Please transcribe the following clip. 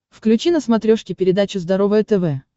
включи на смотрешке передачу здоровое тв